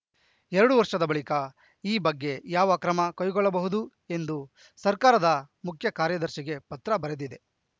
ಎರಡು ವರ್ಷದ ಬಳಿಕ ಈ ಬಗ್ಗೆ ಯಾವ ಕ್ರಮ ಕೈಗೊಳ್ಳಬಹುದು ಎಂದು ಸರ್ಕಾರದ ಮುಖ್ಯ ಕಾರ್ಯದರ್ಶಿಗೆ ಪತ್ರ ಬರೆದಿದೆ